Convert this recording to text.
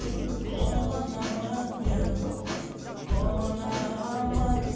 ойланамын мен толғанамын